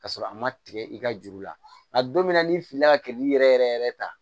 Ka sɔrɔ a ma tigɛ i ka juru la nka don min na n'i filila ka kɛ k'i yɛrɛ yɛrɛ yɛrɛ ta